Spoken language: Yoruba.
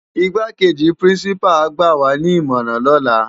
Igbákéji pirinsipá á gbàwá ni imòrán lòlá